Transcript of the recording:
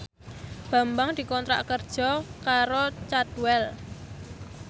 Bambang dikontrak kerja karo Cadwell